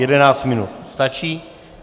Jedenáct minut stačí?